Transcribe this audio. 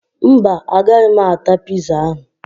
Mba, agaghị m ata piza ahụ